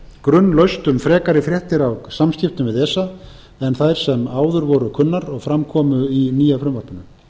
grunlaust um frekari fréttir af samskiptum við esa en þær sem áður voru kunnar og fram komu í nýja frumvarpinu